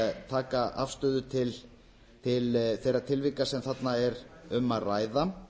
taka afstöðu til þeirra tilvika sem þarna er um að ræða